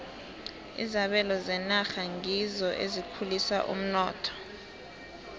izabelo zenarha ngizo ezikhulisa umnotho